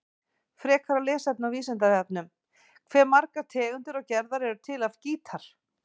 Frekara lesefni á Vísindavefnum: Hve margar tegundir og gerðir eru til af gítar?